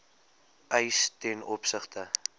eis ten opsigte